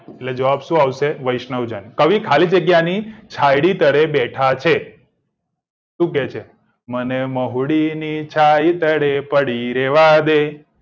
એટલે જવાબ સુ આવશે વૈશ્નજન કવિ ખાલી જગ્યાની છાયડી તરે બેઠા છે સુ કે છે મને મહુડીની છાયડી તરે પડી રેવા દે